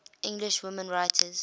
english women writers